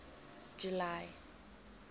july